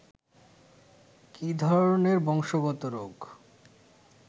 কী ধরনের বংশগত রোগ